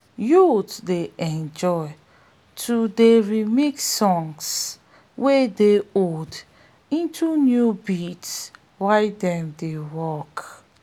youths dey enjoy to dey remix songs wey old into new beats while dem dey work